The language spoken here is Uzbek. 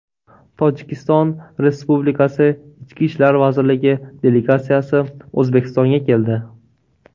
Tojikiston Respublikasi Ichki ishlar vazirligi delegatsiyasi O‘zbekistonga keldi.